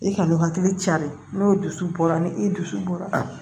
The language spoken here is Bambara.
I ka n'u hakili cari n'o dusu bɔra ni i dusu bɔra